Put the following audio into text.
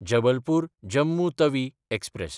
Jabalpur-Jammu Tawi express